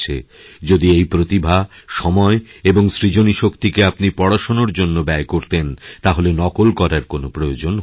যদি এই প্রতিভা সময় এবং সৃজনীশক্তিকে আপনিপড়াশোনার জন্য ব্যয় করতেন তাহলে নকল করার কোনো প্রয়োজন হত না